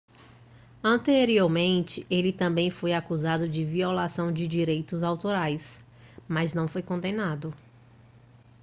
anteriormente ele também foi acusado de violação de direitos autorais mas não foi condenado